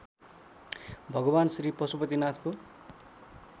भगवान् श्री पशुपतिनाथको